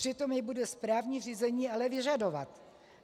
Přitom je bude správní řízení ale vyžadovat.